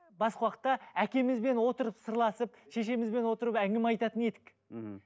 басқа уақытта әкемізбен отырып сырласып шешемізбен отырып әңгіме айтатын едік мхм